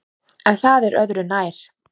En það er öðru nær!